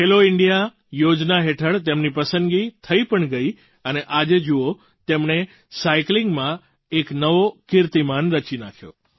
ખેલો India યોજના હેઠળ તેમની પસંદગી થઈ પણ ગઈ અને આજે જુઓ તેમણે સાઇકલિંગમાં એક નવો કીર્તિમાન રચી નાખ્યો